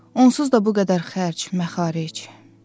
Onsuz da bu qədər xərc, məxaric.